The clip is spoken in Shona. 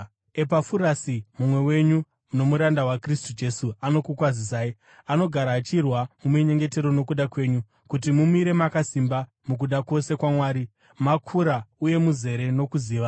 Epafurasi, mumwe wenyu nomuranda waKristu Jesu, anokukwazisai. Anogara achirwa muminyengetero nokuda kwenyu, kuti mumire makasimba mukuda kwose kwaMwari, makura uye muzere nokuziva.